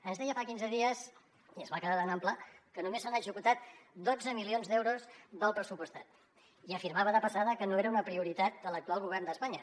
ens deia fa quinze dies i es va quedar tan ample que només s’han executat dotze milions d’euros del pressupostat i afirmava de passada que no era una prioritat de l’actual govern d’espanya